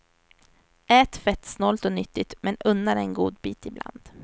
Ät fettsnålt och nyttigt men unna dig en godbit ibland.